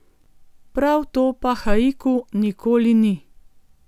Prav to pa haiku nikoli ni.